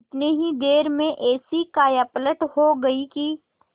इतनी ही देर में ऐसी कायापलट हो गयी कि